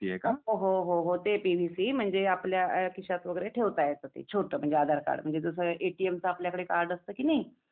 हो हो हो ते पी व्ही सी म्हणजे आपल्या खिश्यात वगैरे ठेवता येत ते. छोटा म्हणजे आधार कार्ड म्हणजे छोटा जस एटीएमच आपल्याकडे कार्ड असते कि नाही